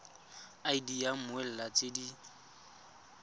id ya mmoelwa tse di